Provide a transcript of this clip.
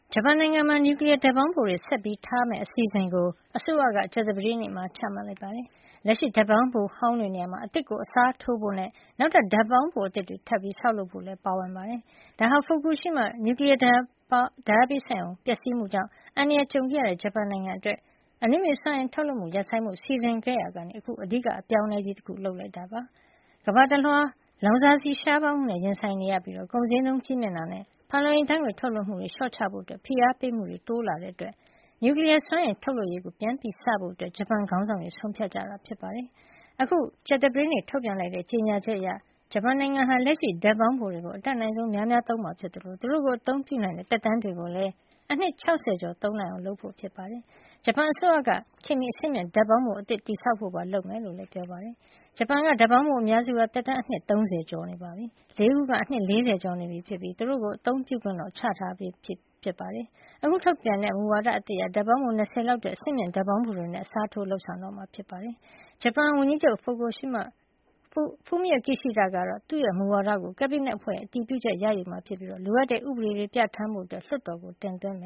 ဂျပန်နိုင်ငံမှာ နျူကလီယားဓါတ်ပေါင်းဖိုတွေ ဆက်လက် ထားရှိမယ့် အစီစဉ်ကို အစိုးရက ကြာသပတေးနေ့မှာ အတည်ပြုလိုက်ပါတယ်။ လက်ရှိ ဓါတ်ပေါင်းဖိုဟောင်းတွေ နေရာမှာ အသစ်အစားထိုးဖို့နဲ့ နောက်ထပ် ဓါတ်ပေါင်းဖို အသစ်တွေ ထပ်မံဆောက်လုပ်ဖို့ပါ ပါဝင်ပါတယ်။ ဒါဟာ Fukushima နျူကလီယား ဓါတ်ပေါင်းဖို့ ပျက်စီးမှုကြောင့် အန္တရာယ်ကြုံခဲ့ရတဲ့ ဂျပန်နိုင်ငံအတွက် အနုမြူစွမ်းအင် ထုတ်လုပ်မှု ရပ်ဆိုင်းဖို့ စီစဉ်ခဲ့ရာကနေ အခု အဓိက အပြောင်းအလဲကြီး တခု ဖြစ်လာတာပါ။ ကမ္ဘာတလွှား လောင်စာရှားပါးမှုနဲ့ ရင်ဆိုင်ရပြီး ကုန်ဈေးနှုန်း ကြီးမြင့်တာနဲ့ ဖန်လုံအိမ် ဓါတ်ငွေ့ ထုတ်လွှတ်မှု လျှော့ချဖို့ ဖိအားပေးမှုတွေ တိုးလာတာကြောင့် နျူကလီယား စွမ်းအင်ထုတ်လုပ်ရေးကို ပြန်စဖို့ ဂျပန်ခေါင်းဆောင်တွေ ဆုံးဖြတ်ကြတာ ဖြစ်ပါတယ်။ အခု ကြာသပတေးနေ့ ထုတ်ပြန်လိုက်တဲ့ ကြေညာချက်အရ ဂျပန်နိုင်ငံဟာ လက်ရှိဓါတ်ပေါင်းဖို့ တွေကို အတတ်နိုင်ဆုံး များများ သုံးမှာ ဖြစ်သလို သူတို့ကို အသုံးပြုနိုင်တဲ့ သက်တမ်းတွေကိုလည်း အနှစ် ၆၀ ကျော် သုံးနိုင်အောင် လုပ်ဆောင်မှာ ဖြစ်ပါတယ်။ ဂျပန်အစိုးရက ခေတ်မှ အဆင့်မြင့် ဓါတ်ပေါင်းဖို အသစ်တည်ဆောက်ဖို့ပါ လုပ်ဆောင်မယ် လို့လည်း ပြောပါတယ်။ ဂျပန်နိုင်ငံက ဓါတ်ပေါင်းဖို အများစုဟာ သက်တမ်း အနှစ် ၃၀ ကျော်နေပြီဖြစ်ပါတယ်။ ၄ ခုကတော့ အနှစ် ၄၀ ကျော်နေပြီဖြစ်ပြီး သူတို့ိကို အသုံးြ့ပုခွင့် ချထားပေးပြီးဖြစ်ပါတယ်။ အခု ထုတ်ပြန်တဲ့ မူဝါဒ အသစ်အရ ဓါတ်ပေါင်းဖို ၂၀ လောက် အတွက် အဆင့်မြင့် ဓါတ်ပေါင်းဖိုတွေနဲ့ အစားထိုးဖို့ လုပ်ဆောင်တော့မှာ ဖြစ်ပါတယ်။ ဂျပန်ဝန်ကြီးချုပ် Fumio Kishida ကတော့ သူ့မူဝါဒကို ကက်ဘိနက်အဖွဲ့ရဲ့ အတည်ပြုချက်ရယူမှာ ဖြစ်ပြီး လိုအပ်တဲ့ ဥပဒေတွေ ပြဌာန်းဖို့ လွှတ်တော်ကို တင်သွင်းမ